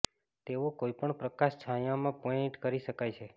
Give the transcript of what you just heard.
તેઓ કોઈપણ પ્રકાશ છાંયો માં પેઇન્ટ કરી શકાય છે